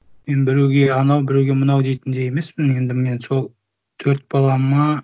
мен біреуге анау біреуге мынау дейтіндей емеспін енді мен сол төрт балама